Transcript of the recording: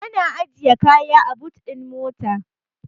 Ana ajiye kaya a but ɗin mota.